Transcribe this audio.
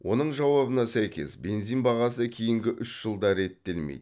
оның жауабына сәйкес бензин бағасы кейінгі үш жылда реттелмейді